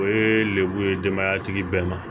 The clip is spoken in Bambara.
O ye lemuru ye denbaya tigi bɛɛ ma